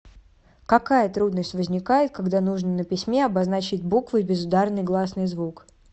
какая трудность возникает когда нужно на письме обозначить буквой безударный гласный звук